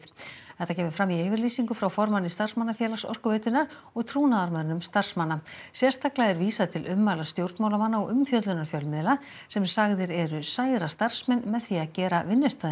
þetta kemur fram í yfirlýsingu frá formanni starfsmannafélags Orkuveitunnar og trúnaðarmönnum starfsmanna sérstaklega er vísað til ummæla stjórnmálamanna og umfjöllunar fjölmiðla sem sagðir eru særa starfsmenn með því að gera vinnustaðinn